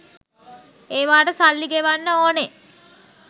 ඒවාට සල්ලි ගෙවන්න ඕනේ